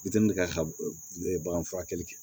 ka bagan furakɛli kɛ